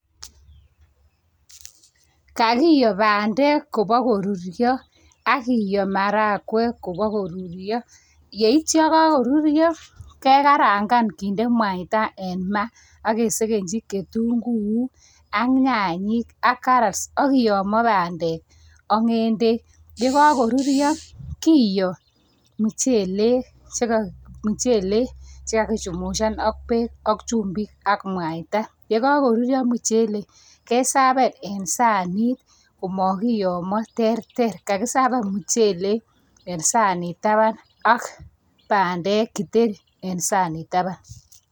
Kakiyo bandek kobo koruryo, ak kiyo marakwek kobo koruryo, yeityi yekakoruryo kekarangan kende mwaita en maa, ak kesegenchi ketunguuk, ak nyanyik ak karats akiyomio bandek ak ng'edek. Yekakoruryo, kiyoo mchelek chekakichumushan ak bek ak chumbik ak mwaita. Yekakoruryo mchelek, keservan eng sanit komakiyomho, terter kakiservan mchelek en sanit taban ak bandek kitheri eng sanit taban.